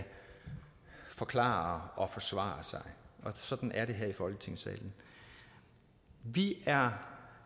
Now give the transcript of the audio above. forklare og forsvare sig sådan er det her i folketingssalen vi er